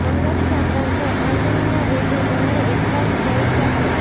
અંગત સંબંધો આંગળીના વેઢે ગણાય એટલા જ હોઈ શકે